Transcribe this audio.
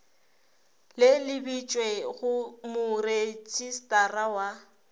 le lebišwe go moretšistara wa